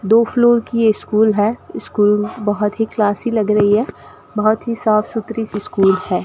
दो फ्लोर की स्कूल है स्कूल बहोत ही क्लासी लग रही है बहोत ही साफ सुथरी स्कूल है।